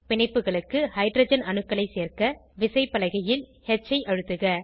பிணைப்புகளுக்கு hydrogen அணுக்களை சேர்க்க விசைப்பலகையில் ஹ் ஐ அழுத்துக